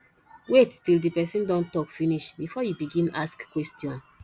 wait til di pesin don tok finish bifor you begin ask question